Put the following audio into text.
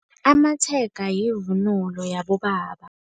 Amatshega yivunulo yabobaba.